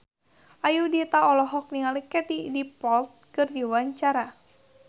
Ayudhita olohok ningali Katie Dippold keur diwawancara